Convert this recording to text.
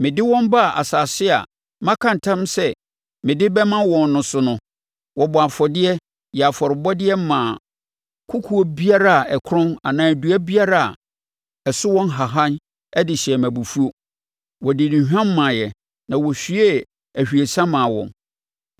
Mede wɔn baa asase a maka ntam sɛ mede bɛma wɔn no so no, wɔbɔɔ afɔdeɛ, yɛɛ afɔrebɔdeɛ maa kokoɔ biara a ɛkorɔn anaa dua biara a ɛso wɔ nhahan de hyɛɛ me abufuo; wɔde nnuhwam maeɛ na wɔhwiee ahwiesa maa wɔn.